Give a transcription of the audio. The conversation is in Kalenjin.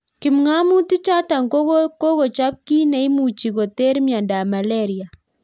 Kipngamotik chotok kokochop kiit neimuchii koter miondop malaria